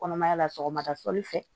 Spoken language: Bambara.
Kɔnɔmaya la sɔgɔmada sɔgɔli fɛ